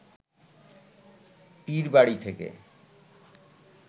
পীরবাড়ি থেকে